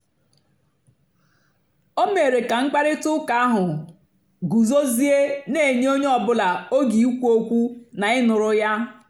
o mèrè kà mkpáịrịtà ụ́ka ahụ́ gùzòziè na-ènyé ònyè ọ́bụ́là ógè ìkwù ókwú na ị̀ nụ́rụ́ ya.